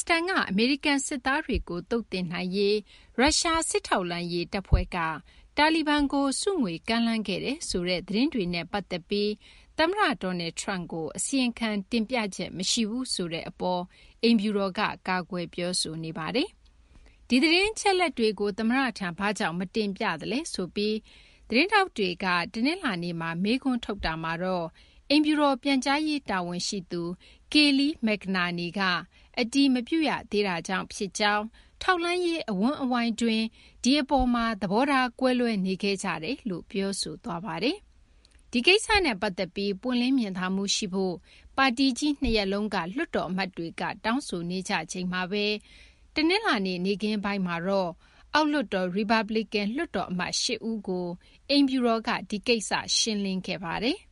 စတန်က အမေရိကန် စစ်သားတွေကို သုတ်သင်နိုင်ရေး ရုရှား စစ်ထောက်လှမ်းရေး တပ်ဖွဲ့က တာလီဘန်ကို ဆုငွေ ကမ်းလှမ်းတယ်ဆိုတဲ့ သတင်းတွေနဲ့ ပတ်သက်ပြီး သမ္မတ Donald Trump ကို အစီရင်ခံ တင်ပြချက် မရှိဘူးဆိုတဲ့ အပေါ် အိမ်ဖြူတော်က ကာကွယ် ပြောဆိုနေပါတယ်။ ဒီသတင်းအချက်အလက်တွေကို သမ္မတထံ ဘာကြောင့် မတင်ပြသလဲ ဆိုပြီး သတင်းထောက်တွေက တနလာၤနေ့မှာ မေးခွန်းထုတ်တာမှာတော့ အိမ်ဖြူတော် ပြန်ကြားရေး တာဝန်ရှိသူ Kayleigh McEnany က အတည်မပြုရသေးတာကြောင့် ဖြစ်ကြောင်း၊ ထောက်လှမ်းရေး အဝန်းအဝိုင်းတွင်း ဒီ အပေါ်မှာ သဘောထား ကွဲလွဲနေခဲ့ကြတယ်လို့ ပြောဆိုသွားပါတယ်။ ဒီကိစ္စနဲ့ ပတ်သက်ပြီး ပွင့်လင်းမြင်သာမှု ရှိဖို့ ပါတီကြီး ၂ ရပ်လုံးက လွှတ်တော်အမတ်တွေက တောင်းဆိုနေကြချိန်မှာဘဲ တနလာၤနေ့ နေ့ခင်းပိုင်းမှာတော့ အောက်လွှတ်တော် ရီပတ်ပလီကန် လွှတ်တော်အမတ် ၈ ဦးကို အိမ်ဖြူတော်က ဒီကိစ္စ ရှင်းလင်းခဲ့ပါတယ်။